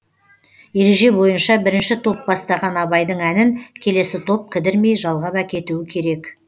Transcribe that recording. ереже бойынша бірінші топ бастаған абайдың әнін келесі топ кідірмей жалғап әкетуі керек